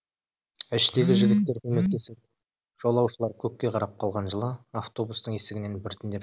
іштегі жігіттер көмектесіп жолаушылар көкке қарап қалған жылы автобустың есігінен біртіндеп